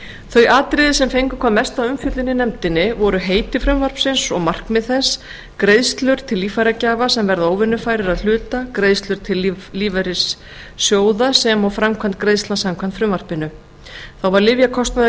þau atriði sem fengu hvað mesta umfjöllun í nefndinni voru heiti frumvarpsins og markmið þess greiðslur til líffæragjafa sem verða óvinnufærir að hluta greiðslur til lífeyrissjóða sem og framkvæmd greiðslna samkvæmt frumvarpinu þá var lyfjakostnaður